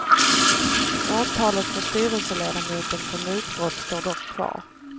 Åtalet för styrelseledamoten för mutbrott står dock kvar.